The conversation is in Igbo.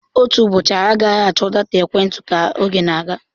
Otu ụbọchị, anyị agaghị achọ data ekwentị ka oge na-aga.